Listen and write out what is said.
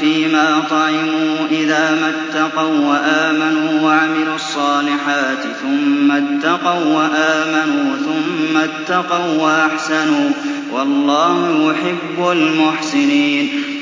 فِيمَا طَعِمُوا إِذَا مَا اتَّقَوا وَّآمَنُوا وَعَمِلُوا الصَّالِحَاتِ ثُمَّ اتَّقَوا وَّآمَنُوا ثُمَّ اتَّقَوا وَّأَحْسَنُوا ۗ وَاللَّهُ يُحِبُّ الْمُحْسِنِينَ